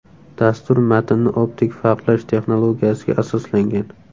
Dastur matnni optik farqlash texnologiyasiga asoslangan.